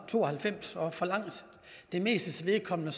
to og halvfems og for langt det mestes vedkommende